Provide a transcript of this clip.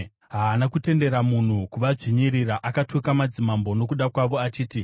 Haana kutendera munhu kuvadzvinyirira; akatuka madzimambo nokuda kwavo achiti,